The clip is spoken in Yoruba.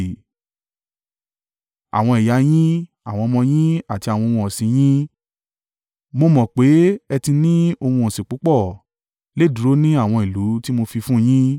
Àwọn ẹ̀yà a yín, àwọn ọmọ yín àti àwọn ohun ọ̀sìn in yín (mo mọ̀ pé ẹ ti ní ohun ọ̀sìn púpọ̀) lè dúró ní àwọn ìlú tí mo fi fún un yín,